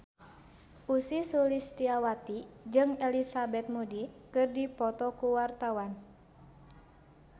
Ussy Sulistyawati jeung Elizabeth Moody keur dipoto ku wartawan